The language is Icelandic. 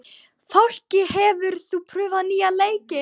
Fálki, hefur þú prófað nýja leikinn?